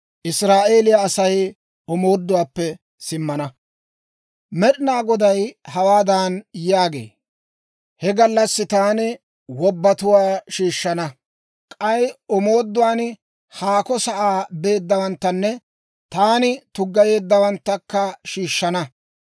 Med'ina Goday hawaadan yaagee; «He gallassi taani wobbatuwaa shiishshana; k'ay omooduwaan haako sa'aa beeddawanttanne taani tuggayeeddawanttakka shiishshana.